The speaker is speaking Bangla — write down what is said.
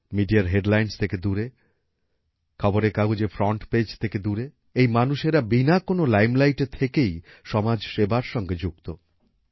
মিডিয়ার হেডলাইনসহ থেকে দূরে খবরের কাগজের ফ্রন্ট পেজ থেকে দূরে এই মানুষেরা বিনা কোনো লাইমলাইটে থেকেই সমাজ সেবার সঙ্গে যুক্ত